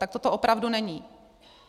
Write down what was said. Takto to opravdu není.